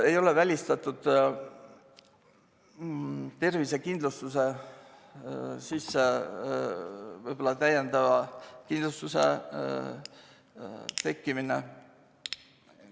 Ei ole välistatud tervisekindlustuse, võib-olla täiendava kindlustuse tekkimine.